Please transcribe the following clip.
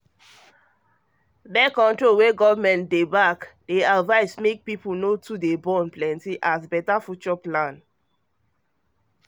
birth-control wey government dey back dey advise make um people no too born plenty as better future plan